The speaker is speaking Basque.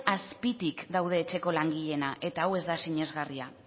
azpitik daude etxeko langileenak eta hau ez da sinesgarria